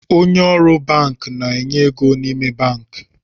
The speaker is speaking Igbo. Onye ọrụ banki na-enye ego n’ime banki